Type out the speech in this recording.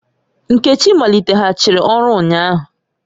Nkechi maliteghachiri ọrụ ụnyahụ